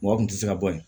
Mɔgɔ kun tɛ se ka bɔ yen